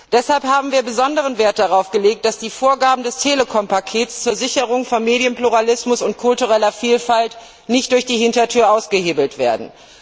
Deshalb haben wir besonderen Wert darauf gelegt, dass die Vorgaben des Telekom Pakets zur Sicherung von Medienpluralismus und kultureller Vielfalt nicht durch die Hintertür ausgehebelt werden.